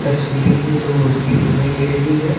तस्वीर में दो मूर्ति दिखाई दे रही है।